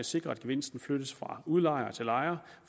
sikre at gevinsten flyttes fra udlejer til lejer